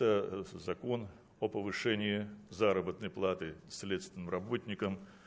закон о повышении заработной платы следственным работникам